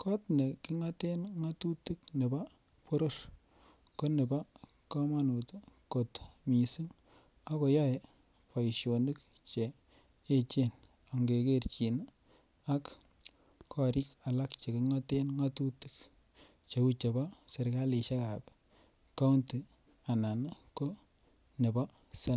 kot nekingoten ngatutik nebo boror ko nebo komonut kot mising ak koyoe boisionik Che echen ange kerchin ak korik alak Che kingoten ngatutik cheu chebo serkalisiek ab kaunti anan ko nebo senet